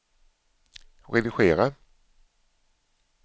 redigera